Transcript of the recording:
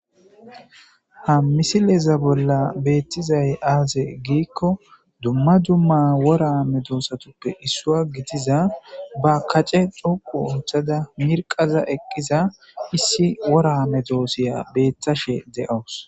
ha misileza bolla beettizay aaze giikko dumma dumma woraa medoossatuppe issua gitiza ba kace xuqu unthada mirqaza eqqiza issi woraame doosiya beetthashe de7awus